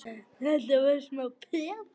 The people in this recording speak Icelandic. Þetta var smá peð!